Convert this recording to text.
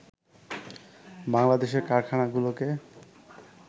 বাংলাদেশের কারখানাগুলোকে